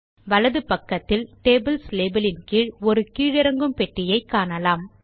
வலது பக்கத்தில் tables label இன் கீழ் ஒரு கீழிறங்கும் பெட்டியை காணலாம்